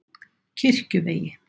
Kirkjuvegi